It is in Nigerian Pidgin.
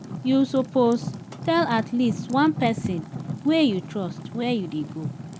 you suppose tell at least one pesin wey you trust where you dey go.